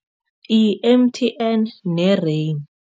I-M_T_N ne-Rain.